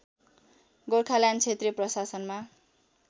गोर्खाल्यान्ड क्षेत्रीय प्रशासनमा